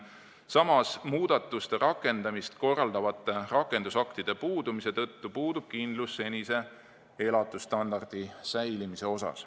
Samas, muudatuste rakendamist korraldavate rakendusaktide puudumise tõttu puudub kindlus, et senine elatusstandard püsib.